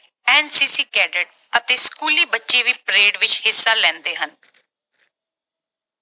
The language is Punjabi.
NCC cadet ਅਤੇ ਸਕੂਲੀ ਬੱਚੇ ਵੀ parade ਵਿੱਚ ਹਿੱਸਾ ਲੈਂਦੇ ਹਨ।